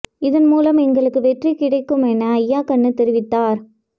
இதன் மூலம் எங்களுக்கு வெற்றி கிடைக்கும் என அய்யா கண்ணு தெரிவித்தார்